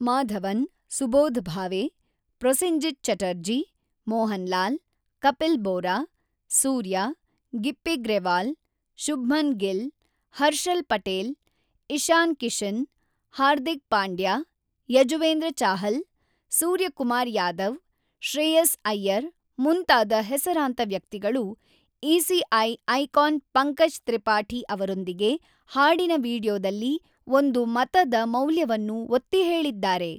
ಮಾಧವನ್, ಸುಬೋಧ್ ಭಾವೆ, ಪ್ರೊಸೆನ್ಜಿತ್ ಚಟರ್ಜಿ, ಮೋಹನ್ಲಾಲ್, ಕಪಿಲ್ ಬೋರಾ, ಸೂರ್ಯ, ಗಿಪ್ಪಿ ಗ್ರೆವಾಲ್, ಶುಭ್ಮನ್ ಗಿಲ್, ಹರ್ಷಲ್ ಪಟೇಲ್, ಇಶಾನ್ ಕಿಶನ್, ಹಾರ್ದಿಕ್ ಪಾಂಡ್ಯ, ಯಜುವೇಂದ್ರ ಚಾಹಲ್, ಸೂರ್ಯಕುಮಾರ್ ಯಾದವ್, ಶ್ರೇಯಸ್ ಅಯ್ಯರ್ ಮುಂತಾದ ಹೆಸರಾಂತ ವ್ಯಕ್ತಿಗಳು ಇಸಿಐ ಐಕಾನ್ ಪಂಕಜ್ ತ್ರಿಪಾಠಿ ಅವರೊಂದಿಗೆ ಹಾಡಿನ ವೀಡಿಯೊದಲ್ಲಿ ಒಂದು ಮತದ ಮೌಲ್ಯ ವನ್ನು ಒತ್ತಿಹೇಳಿದ್ದಾರೆ.